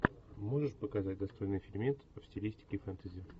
можешь показать достойный фильмец в стилистике фэнтези